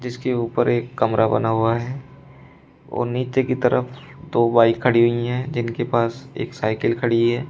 इसके ऊपर एक कमरा बना हुआ है और नीचे की तरफ दो बाइक खड़ी हुई हैं जिनके पास एक साइकिल खड़ी है।